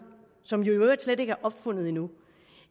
som jo i øvrigt slet ikke er opfundet endnu